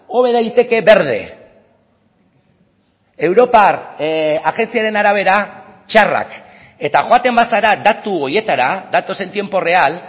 hobe daiteke berde europar agentziaren arabera txarrak eta joaten bazara datu horietara datos en tiempo real